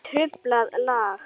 Truflað lag.